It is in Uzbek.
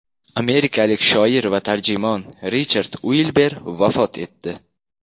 Amerikalik shoir va tarjimon Richard Uilber vafot etdi.